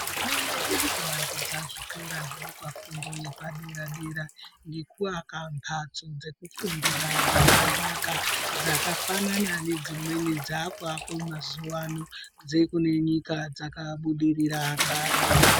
Hurumende iri kuvandudza zvikora zvinopa fundo yepadera-dera ngekuaka mhatso dzekufundira dzakanaka dzakafanana nedzimweni dzaakuakwa mazuwa ano dzekune nyika dzakabudirira kare.